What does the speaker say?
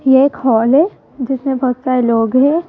ये एक हॉल है जिसमे बहोत सारे लोग हैं।